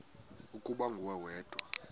ukuba nguwe wedwa